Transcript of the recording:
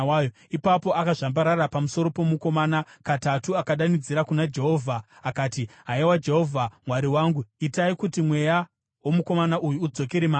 Ipapo akazvambarara pamusoro pomukomana katatu akadanidzira kuna Jehovha akati, “Haiwa Jehovha Mwari wangu, itai kuti mweya womukomana uyu udzokere maari!”